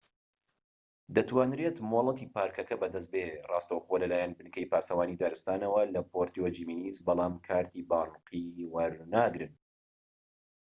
دەتوانرێت مۆڵەتی پارکەکە بەدەست بێت ڕاستەوخۆ لەلایەن بنکەی پاسەوانی دارستانەوە لە پوێرتۆ جیمینێز بەڵام کارتی بانقی وەرناگرن